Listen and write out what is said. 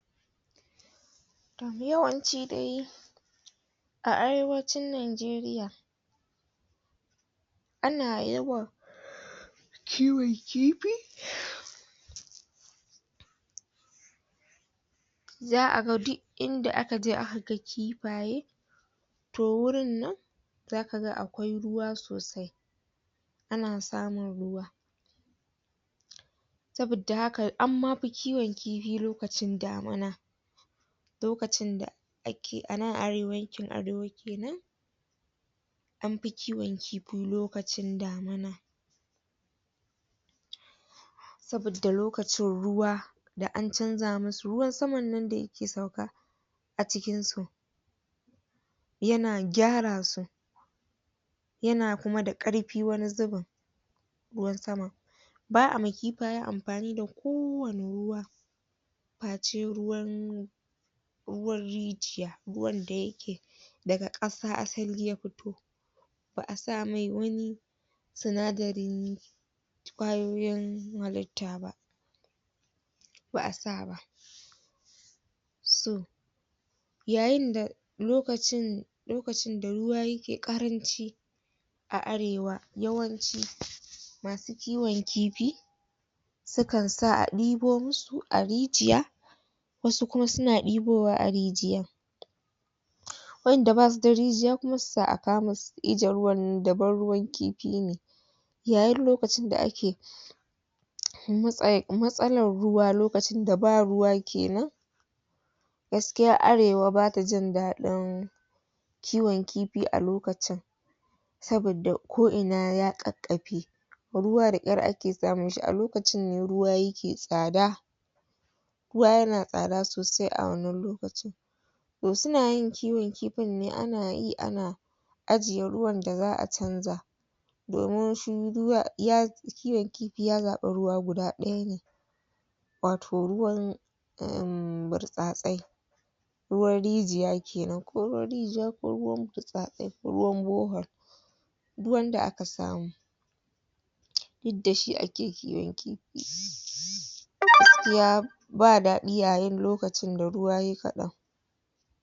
yawanci dai a arewacin Najeriya ana yawan kiwon kifi za'a ga duk inda aka je aka ga kifaye to wurin nan zaka ga akwai ruwa sosai ana samun ruwa saboda haka amma fi kiwon kifi lokacin damana lokacin da a nan yankin arewa kenan an fi kiwon kifi lokacin damina saboda lokacin ruwa da an canja musu ruwan saman nan da yake sauka a cikin su yana gyara su yana kuma da ƙarfi wani zubin ruwan sama ba'a ma kifayen amfani da kowane ruwa face ruwan ruwan rijiya ruwan da yake daga ƙasa asali ya fito ba'a sa mai wani sinadari ƙwayoyin halitta ba ba'a sa ba so yayin da lokacin lokacin da ruwa yake ƙaranci a arewa yawanci masu kiwon kifi sukan sa a ɗibo mu su a rijiya wasu kuma suna ɗebowa a rijiyan wanda basu da rijiya kuma su sa a kawo musu daban ruwan kifi ne yayin lokacin da ake matsalar ruwa lokacin da ba ruwa kenan gaskiya arewa bata jin daɗin kiwon kifi a lokacin saboda ko ina ya ƙaƙƙafe ruwa daƙyar ake samun shi a lokacin ne ruwa yake tsada ruwa yana tsada sosai a wannan lokaci to suna yin kiwon kifin ne ana yi ana ajiye ruwan da za'a canja domin shi kiwon kifi ya zaɓa ruwa guda ɗaya ne wato ruwan umm burtsatsai ruwan rijiya kenan ko ruwan rijiya ko ruwan burtsatsai ruwan borehole duk wanda aka samu duk da shi ake kiwon kifi gaskiya ba daɗi yayin lokacin da ruwa yayi kaɗan